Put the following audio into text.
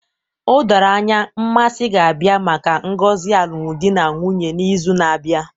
O doro anya, Mmasi ga-abịa maka ngozi alụmdi na nwunye n'izu na-abịa